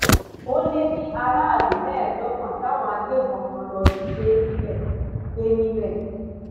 ó lé ní aráàlú mẹẹẹdọgbọn táwọn agbébọn kan lọọ jí gbé níbẹ gbé níbẹ